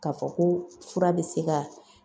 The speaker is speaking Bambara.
Ka fɔ ko fura be se ka